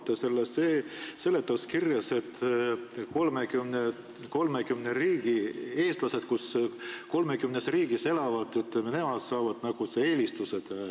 Te pakute seletuskirjas, et 30 riigi eestlased saavad nagu selle eelistuse.